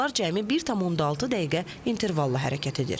Qatarlar cəmi 1,6 dəqiqə intervalla hərəkət edir.